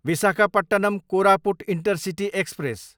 Visakhapatnam, Koraput intercity express